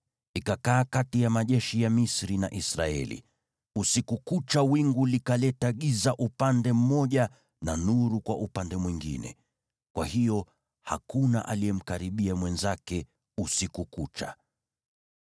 ikakaa kati ya majeshi ya Misri na Israeli. Usiku kucha wingu likaleta giza upande mmoja na nuru kwa upande mwingine, kwa hiyo hakuna aliyemkaribia mwenzake usiku kucha.